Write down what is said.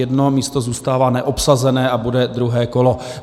Jedno místo zůstává neobsazené a bude druhé kolo.